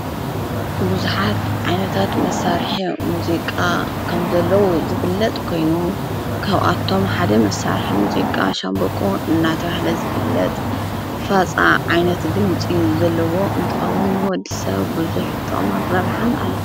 ብዙኃት ዓይነታት መሣርሐ ሙዚቃ ከም ዘለዉ ዝፍለጥ ኮይኑ ካብኣቶም ሓደ መሣርሐ ሙዚቃ ሻንቦቆ እናተብሃለ ዝፍለጥ ፋፃ ዓይነት ድምፂ ዘለዎ እንትውን ወዲ ሰብ ብዙሕ ጥቅምን ረብሓን ኣለዎ።